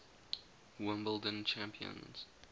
wimbledon champions